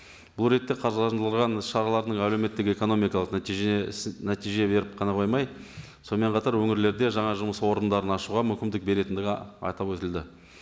бұл ретте қаржыландырылған шаралардың әлеуметтік экономикалық нәтижесі нәтиже беріп қана қоймай сонымен қатар өңірлерде жаңа жұмыс орындарын ашуға мүмкіндік беретіндігі айтып өтілді